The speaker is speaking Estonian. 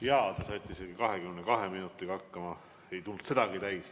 Jaa, te saite isegi 22 minutiga hakkama, ei tulnud sedagi täis.